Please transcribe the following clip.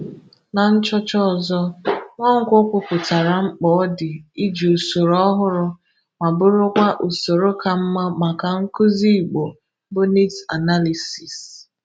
Na nchọcha ọzọ, Nwankwọ kwupụtara mkpa ọ dị iji usoro ọhụrụ ma bụrụkwa usoro ka mma maka nkuzi Igbo bụ Niids Analisiisi